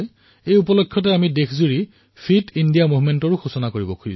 এই উপলক্ষে আমি সমগ্ৰ দেশতে ফিট ইণ্ডিয়া মুভমেণ্ট মুকলি কৰিম